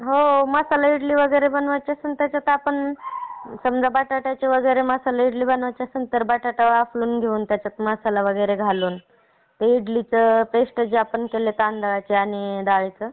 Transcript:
हो मसाला इडली वैगेरे बनवायची असेल तर बटाटा वाफाळून घेऊन, त्याच्यात मसाला वगैरे घालून, इडलीचे पेस्ट जी आपण केली तांदळाची आणि डाळीचं